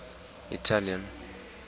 italian